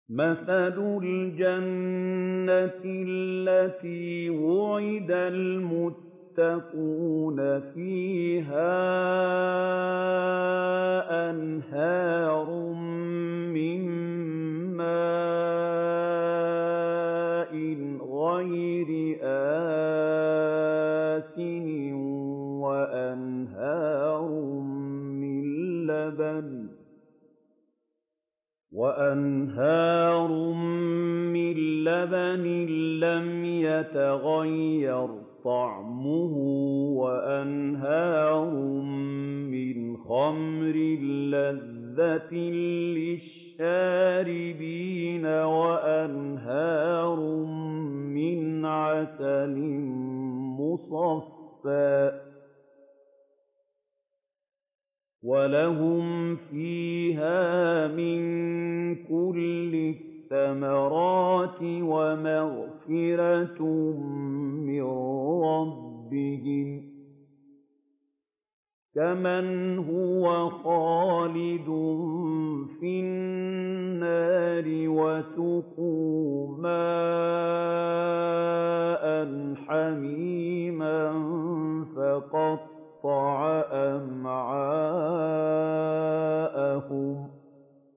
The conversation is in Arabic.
مَّثَلُ الْجَنَّةِ الَّتِي وُعِدَ الْمُتَّقُونَ ۖ فِيهَا أَنْهَارٌ مِّن مَّاءٍ غَيْرِ آسِنٍ وَأَنْهَارٌ مِّن لَّبَنٍ لَّمْ يَتَغَيَّرْ طَعْمُهُ وَأَنْهَارٌ مِّنْ خَمْرٍ لَّذَّةٍ لِّلشَّارِبِينَ وَأَنْهَارٌ مِّنْ عَسَلٍ مُّصَفًّى ۖ وَلَهُمْ فِيهَا مِن كُلِّ الثَّمَرَاتِ وَمَغْفِرَةٌ مِّن رَّبِّهِمْ ۖ كَمَنْ هُوَ خَالِدٌ فِي النَّارِ وَسُقُوا مَاءً حَمِيمًا فَقَطَّعَ أَمْعَاءَهُمْ